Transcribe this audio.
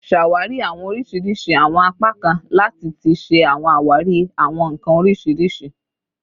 Ṣawari awọn oriṣiriṣi awọn apakan lati ti ṣe awari awọn nkan oriṣiriṣi